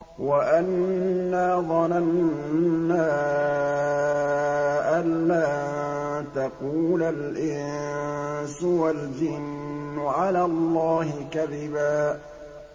وَأَنَّا ظَنَنَّا أَن لَّن تَقُولَ الْإِنسُ وَالْجِنُّ عَلَى اللَّهِ كَذِبًا